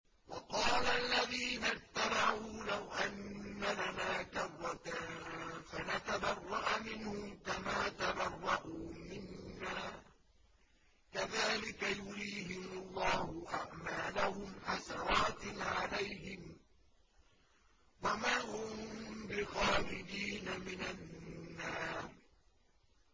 وَقَالَ الَّذِينَ اتَّبَعُوا لَوْ أَنَّ لَنَا كَرَّةً فَنَتَبَرَّأَ مِنْهُمْ كَمَا تَبَرَّءُوا مِنَّا ۗ كَذَٰلِكَ يُرِيهِمُ اللَّهُ أَعْمَالَهُمْ حَسَرَاتٍ عَلَيْهِمْ ۖ وَمَا هُم بِخَارِجِينَ مِنَ النَّارِ